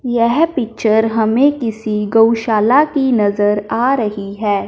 यह पिक्चर हमें किसी गौशाला की नजर आ रही है।